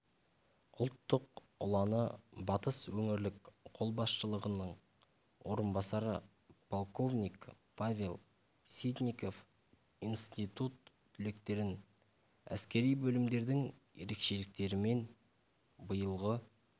ұлттық ұланы батыс өңірлік қолбасшысының орынбасары полковник павел ситников институт түлектерін әскери бөлімдердің ерекшеліктерімен биылғы